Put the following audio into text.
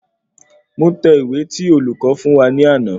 Mo tẹ ìwé tí olùko fún wa ní àná